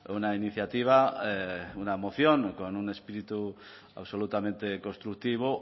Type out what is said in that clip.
una iniciativa una moción con un espíritu absolutamente constructivo